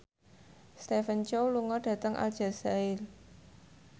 Stephen Chow lunga dhateng Aljazair